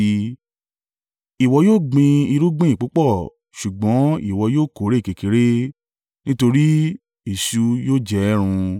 Ìwọ yóò gbin irúgbìn púpọ̀ ṣùgbọ́n ìwọ yóò kórè kékeré, nítorí eṣú yóò jẹ ẹ́ run.